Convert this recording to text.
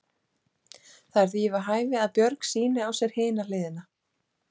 Það er því við hæfi að Björg sýni á sér hina hliðina.